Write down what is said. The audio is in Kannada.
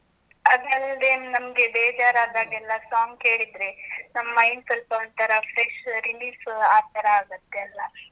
ಅದಲ್ದೇ ನಮ್ಗೆ, ಬೇಜಾರ್ ಆದಾಗೆಲ್ಲಾ song ಕೇಳಿದ್ರೆ ನಮ್ಮ್ mind ಸ್ವಲ್ಪ ಒಂತರಾ fresh, relief ಆತರ ಆಗತ್ತೆ ಅಲ್ಲಾ?